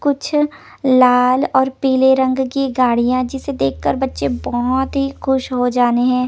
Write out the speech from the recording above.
कुछ लाल और पीले रंग की गाड़ियां जिसे देखकर बच्चे बहोत ही खुश हो जाने हैं।